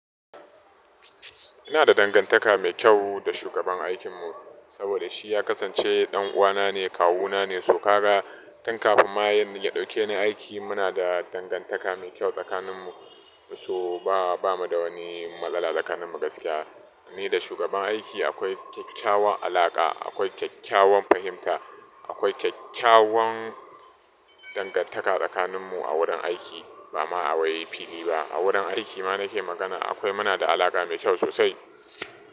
Ina da dangantaka mai kyau da shugaban aikinmu, saboda shi ya kasance ɗan'uwana ne, kawu na ne, so kaga. Tun kafin ma ya ɗauke ni aiki, muna da dangantaka mai kyau tsakaninmu, so ba mu da wani malala tsakaninmu gaskiya. Ni da shugaban aiki akwai kyakkyawan alaƙa, akwai kyakkyawan fahimta, akwai kyakkyawan dangantaka tsakaninmu a wurin aiki, ba ma awai fili ba. A wurin aiki ma na ke magana akwai muna da alaƙa mai kyau sosai.